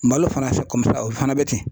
Malo fana o fana bɛ ten.